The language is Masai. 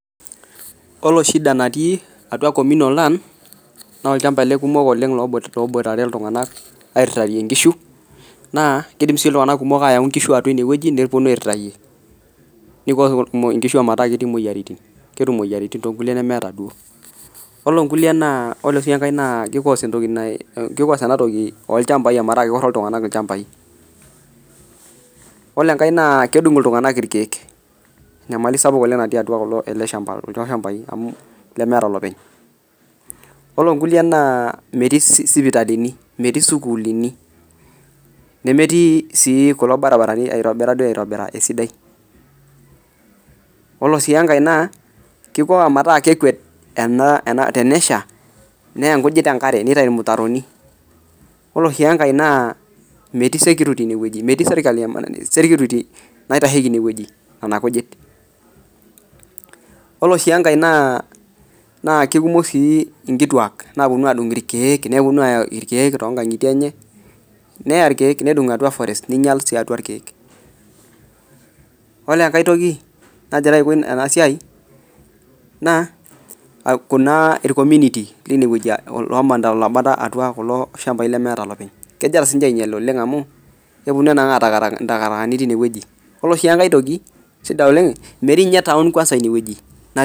Oloshida natii atua communal land naa nchapai kumok oleng loboitare iltung'anak airirarie nkishu naa kidimsii iltunganak kumok ayau nkishu atua inewueji neponu airirayie neponu moyiaritin, ore sii enkae naa kicause metaa keoro iltunganak ilchambai , ore enkae naa kedung iltunganak irkiek enyamali sapuk natii atua kulo shambai lemeeta lopeny, olonkulie naa metii sipitalini, metii sukullini , nemetii si kulo baribarani oitobira esidai , olosi enkae naa kiko metaa ore tenesha neya nkujit enkare , olosii enkae naa metii security inewueji naitasheiki nena kujit , olosii enkae naa kikumok sii inkituak naponu adung , neponu aya irkiek too nkangitie enye , neya irkiek, nedung' atua forest, ore enkae naa ircommunity lomanita inewueji amu kegira anangaa takataka, ore enkae naa metii twon inewueji.